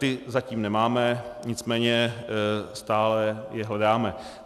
Ty zatím nemáme, nicméně stále je hledáme.